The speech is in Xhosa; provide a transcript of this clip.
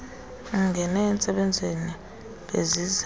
ungena entsebenzweni beziza